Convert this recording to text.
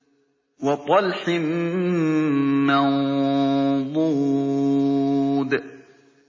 وَطَلْحٍ مَّنضُودٍ